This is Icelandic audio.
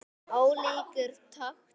Ólíkur taktur.